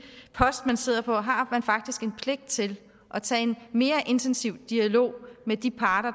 post han sidder på at har man faktisk en pligt til at tage en mere intensiv dialog med de parter